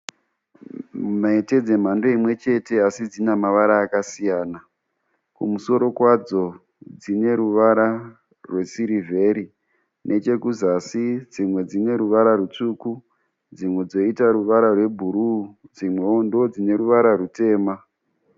Mhete dzemhando imwe chende asi dzina mavara akasiyana. Kumusoro kwadzo dzine ruvara rwesirivheri, nechekuzasi dzimwe ruvara rwutsvuku, dzimwe dzoita ruvara rwebhuru dzimwewo ndodzine ruvara rwutema.